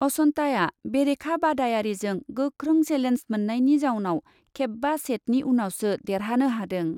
अचन्ताआ बेरेखा बादायारिजों गोख्रों सेलेन्ज मोन्नायनि जाउनाव खेबबा सेटनि उनावसो देरहानो हादों।